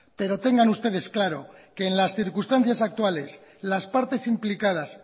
pero tengan ustedes claro que en las circunstancias actuales las partes implicadas